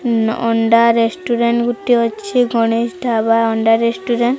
ଉଁ ନ ଅଣ୍ଡା ରେଷ୍ଟୁରାଣ୍ଟ ଗୋଟିଏ ଅଛି। ଗଣେଶ ଢାବା ଅଣ୍ଡା ରେଷ୍ଟୁରାଣ୍ଟ ।